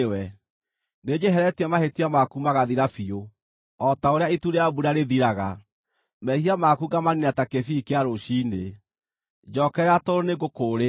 Nĩnjeheretie mahĩtia maku magathira biũ, o ta ũrĩa itu rĩa mbura rĩthiraga, mehia maku ngamaniina ta kĩbii kĩa rũciinĩ. Njookerera tondũ nĩngũkũũrĩte.”